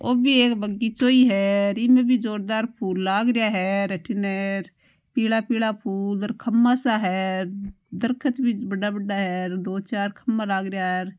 ओ भी एक बगीचाे ही है र इमें भी जोरदार फुल लाग रहिया है र अठीने पिला पिला फुल खम्बा सा है र दरकत भी बड़ा बड़ा है दो चार खम्बा लाग रहिया है।